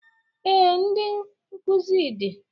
Ee, ndị nkuzi dị